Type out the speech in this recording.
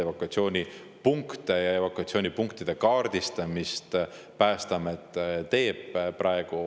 Evakuatsioonipunkte ja evakuatsioonipunktide kaardistamist Päästeamet teeb praegu.